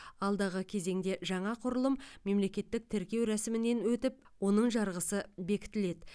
алдағы кезеңде жаңа құрылым мемлекеттік тіркеу рәсімінен өтіп оның жарғысы бекітіледі